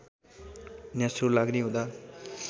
न्यास्रो लाग्ने हुँदा